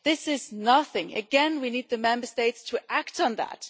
This is nothing. Again, we need the Member States to act on that.